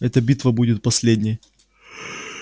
эта битва будет последней